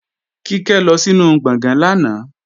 Kíkẹ́ lọ sínu gbọ̀gán lánàá